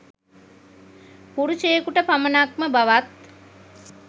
පුරුෂයකුට පමණක් ම බවත්